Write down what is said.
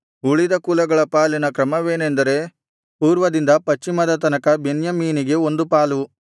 ಉಳಿದ ಕುಲಗಳ ಪಾಲಿನ ಕ್ರಮವೇನೆಂದರೆ ಪೂರ್ವದಿಂದ ಪಶ್ಚಿಮದ ತನಕ ಬೆನ್ಯಾಮೀನಿಗೆ ಒಂದು ಪಾಲು